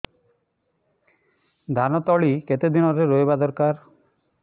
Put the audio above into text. ଧାନ ତଳି କେତେ ଦିନରେ ରୋଈବା ଦରକାର